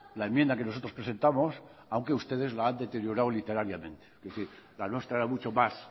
la enmienda que nosotros presentamos aunque ustedes la han deteriorado literariamente es decir la nuestra era mucho más